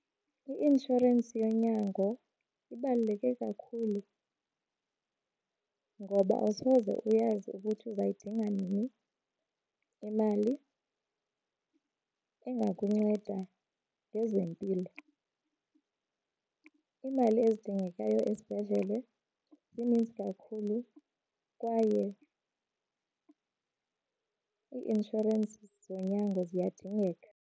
I-inshorensi yonyango ibaluleke kakhulu ngoba awusoze uyazi ukuthi uzayidinga nini imali engakunceda ngezempilo. Imali ezidingekayo esibhedlele zininzi kakhulu kwaye ii-inshorensi zonyango ziyadingeka.